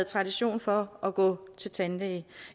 tradition for at gå til tandlæge